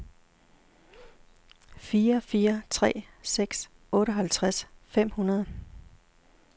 fire fire tre seks otteoghalvtreds fem hundrede